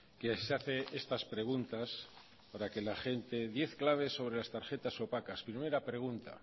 que se hace estas preguntas para que la gente diez claves sobre las tarjetas opacas primera pregunta